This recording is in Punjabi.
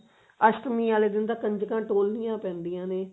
ਅਸ਼ਟਮੀ ਵਾਲੇ ਦਿਨ ਤਾਂ ਕੰਜਕਾਂ ਢੋਲਨਿਆ ਪੈਂਦੀਆਂ ਨੇ